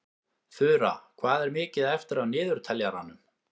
Þura, hvað er mikið eftir af niðurteljaranum?